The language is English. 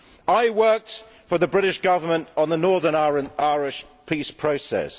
I worked for the British Government on the Northern Ireland peace process.